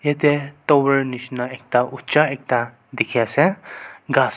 yatae tower nishina ekta uja ekta dikhiase ghas.